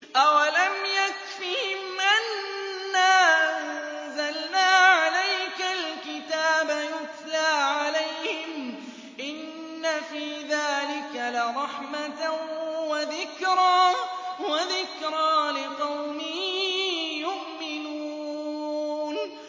أَوَلَمْ يَكْفِهِمْ أَنَّا أَنزَلْنَا عَلَيْكَ الْكِتَابَ يُتْلَىٰ عَلَيْهِمْ ۚ إِنَّ فِي ذَٰلِكَ لَرَحْمَةً وَذِكْرَىٰ لِقَوْمٍ يُؤْمِنُونَ